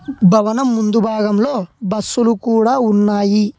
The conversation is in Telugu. ఈ స్టేజిని చాలా బాగా బుగ్గలతో డెకరేషన్ చేసినారు ఆ బుగ్గలు రకరకాల కలర్లో ఉన్నాయి.